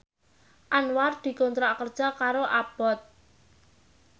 Anwar dikontrak kerja karo Abboth